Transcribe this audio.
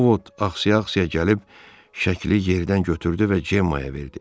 Ovod axsaya-axsaya gəlib şəkli yerdən götürdü və Cemmaya verdi.